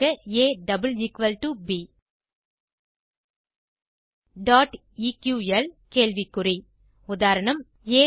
ab dot equal கேள்வி குறி உதா